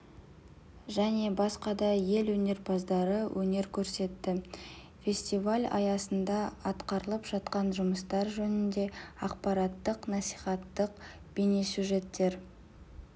және басқа да ел өнерпаздары өнер көрсетті фестиваль аясында атқарылып жатқан жұмыстар жөнінде ақпараттық-насихаттық бейнесюжеттер